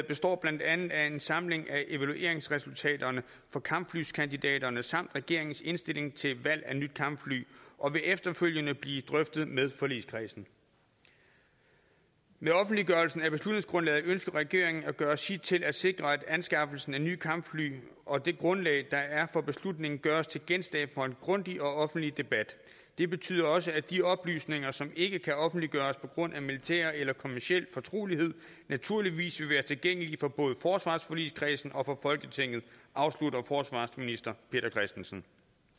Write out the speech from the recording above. består blandt andet af en samling af evalueringsresultaterne for kampflyskandidaterne samt af regeringens indstilling til valg af nyt kampfly og vil efterfølgende blive drøftet med forligskredsen med offentliggørelsen af beslutningsgrundlaget ønsker regeringen at gøre sit til at sikre at anskaffelsen af nye kampfly og det grundlag der er for beslutningen gøres til genstand for en grundig og offentlig debat det betyder også at de oplysninger som ikke kan offentliggøres pga militær eller kommerciel fortrolighed naturligvis vil være tilgængelige for både forsvarsforligskredsen og for folketinget afslutter forsvarsminister peter christensen